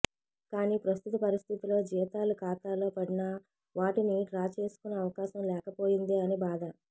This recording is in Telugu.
కానీ ప్రస్తుత పరిస్థితిలో జీతాలు ఖాతాలో పడినా వాటిని డ్రా చేసుకునే అవకాశం లేకపోయిందే అని బాధ